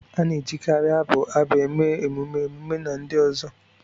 A na-ejikarị abụ abụ eme emume, emume, na ndi uzo